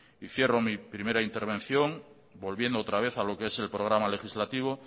y cierro mi primera intervención volviendo otra vez a lo que es el programa legislativo